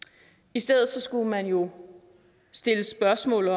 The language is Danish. i stedet skulle man jo stille spørgsmål